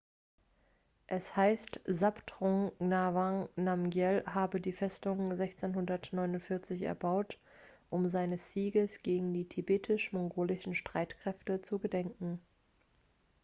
es heißt zhabdrung ngawang namgyel habe die festung 1649 erbaut um seines sieges gegen die tibetisch-mongolischen streitkräfte zu gedenken